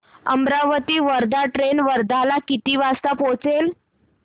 Amravati Wardha train वर्ध्याला किती वाजता पोहचेल